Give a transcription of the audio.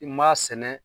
I m'a sɛnɛ